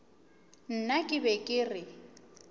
nna ke be ke re